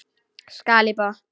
Skál í botn!